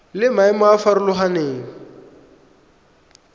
le maemo a a farologaneng